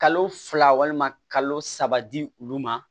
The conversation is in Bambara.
Kalo fila walima kalo saba di olu ma